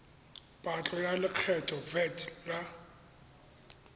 patlo ya lekgetho vat la